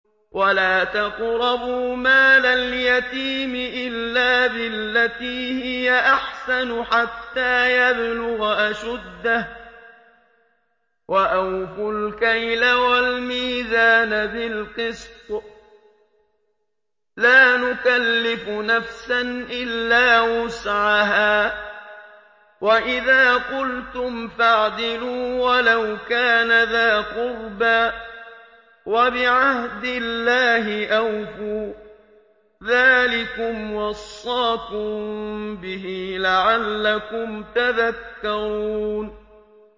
وَلَا تَقْرَبُوا مَالَ الْيَتِيمِ إِلَّا بِالَّتِي هِيَ أَحْسَنُ حَتَّىٰ يَبْلُغَ أَشُدَّهُ ۖ وَأَوْفُوا الْكَيْلَ وَالْمِيزَانَ بِالْقِسْطِ ۖ لَا نُكَلِّفُ نَفْسًا إِلَّا وُسْعَهَا ۖ وَإِذَا قُلْتُمْ فَاعْدِلُوا وَلَوْ كَانَ ذَا قُرْبَىٰ ۖ وَبِعَهْدِ اللَّهِ أَوْفُوا ۚ ذَٰلِكُمْ وَصَّاكُم بِهِ لَعَلَّكُمْ تَذَكَّرُونَ